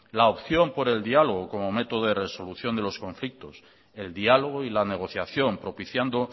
la opción por el diálogo como método de resolución de los conflictos el diálogo y la negociación propiciando